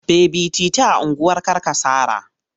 Baby titi a unguwar Karkasara.